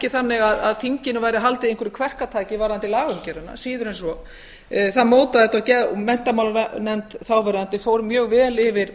þannig að þinginu væri haldið í einhverju kverkatak varðandi lagaumgjörðina síður en svo menntamálanefnd þáverandi fór mjög vel yfir